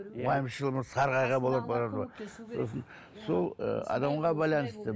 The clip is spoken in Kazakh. уайымшыл сол ы адамға байланысты